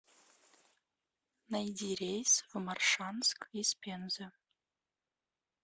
найди рейс в моршанск из пензы